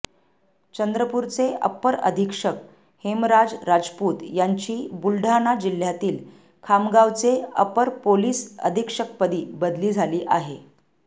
चंद्रपूरचे अप्पर अधीक्षक हेमराज राजपूत यांची बुलढाणा जिल्ह्यातील खामगावचे अपर पोलीस अधीक्षकपदी बदली झाली आहे